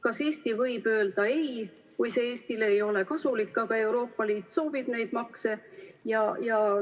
Kas Eesti võib öelda ei, kui see ei ole Eestile kasulik, aga Euroopa Liit soovib neid makse?